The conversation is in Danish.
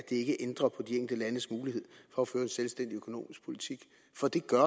ikke ændrer på de enkelte landes mulighed for at føre en selvstændig økonomisk politik for det gør